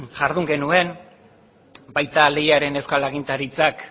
jardun genuen baita leiaren euskal agintaritzak